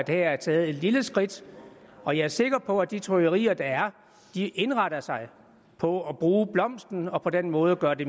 her er taget et lille skridt og jeg er sikker på at de trykkerier der er indretter sig på at bruge blomsten og på den måde gøre det